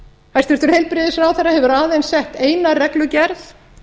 hæstvirtur heilbrigðisráðherra hefur aðeins sett eina reglugerð